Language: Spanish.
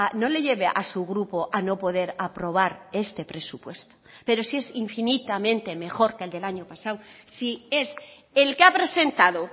no le lleve a su grupo a no poder aprobar este presupuesto pero si es infinitamente mejor que el del año pasado si es el que ha presentado